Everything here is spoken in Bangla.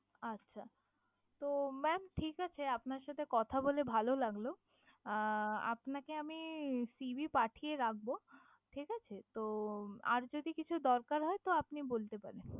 আচ্ছা তো maam ঠিক আছে, আপনের সাথে কথা বলে ভাল লাগলো আহ আপনাকে আমি CV পাঠিয়ে রাখবো, ঠিক আছে। তো আর যদি কিছু দরকার হয় তো আপনি বলতে পারেন।